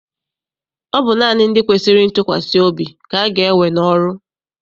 Ọ bụ naanị ndị kwesịrị ntụkwasị obi ka aga ewe n'ọrụ.